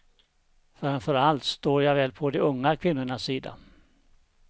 Framför allt står jag väl på de unga kvinnornas sida.